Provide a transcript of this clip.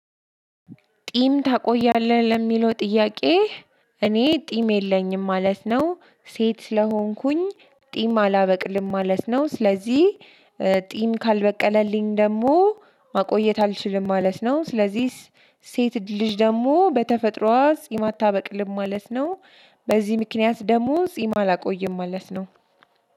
ቂም ታቆያለህ? ለሚለው ጥያቄ እኔ ቂም የለኝም ማለት ነው። ሴት ስለሆንኩኝ ጺም አላበቅልም ማለት ነው። ስለዚህ ጺም ካልበቀለልኝ ደግሞ ማቆየት አልችልም ማለት ነው። ስለዚህ ሴት ልጅ ደግሞ በተፈጥሮዋ ጺም አታበቅልም ማለት ነው። በዚህ ምክንያት ደግሞ ጺም አላቆይም ማለት ነው።